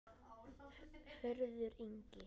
Hörður Ingi.